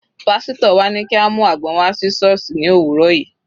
Pásítọ̀ wa ní kí a mú àgbọn wá sí sọ́ọ̀sì ní òwúrọ̀ yìí.